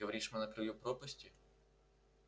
говоришь мы на краю пропасти